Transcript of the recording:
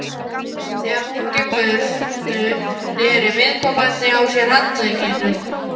Þegar hann gekk burtu, neri viðkomandi á sér handlegginn.